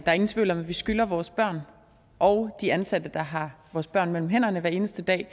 er ingen tvivl om at vi skylder vores børn og de ansatte der har vores børn mellem hænderne hver eneste dag at